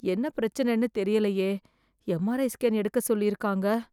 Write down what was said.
என்ன பிரச்சனைன்னு தெரியலையே எம்ஆர்ஐ ஸ்கேன் எடுக்க சொல்லி இருக்காங்க